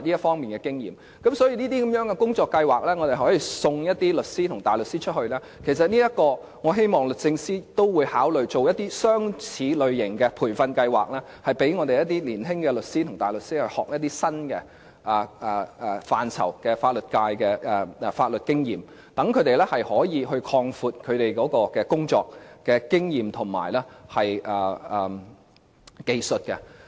所以，透過這類工作計劃，可以送一些律師和大律師到外國學習，我希望律政司司長也會考慮類似的培訓計劃，讓香港一些年青律師和大律師學習一些新的範疇，累積法律經驗，讓他們可以擴闊其工作經驗和技術。